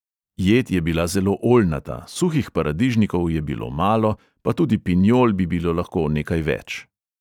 Jed je bila zelo oljnata, suhih paradižnikov je bilo malo, pa tudi pinjol bi bilo lahko nekaj več.